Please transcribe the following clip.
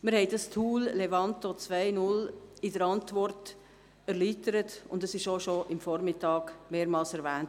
Wir haben das Tool «Levanto 2.0» in der Antwort erläutert, und es wurde bereits am Vormittag mehrmals erwähnt.